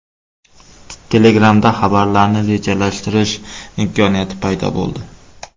Telegram’da xabarlarni rejalashtirish imkoniyati paydo bo‘ldi.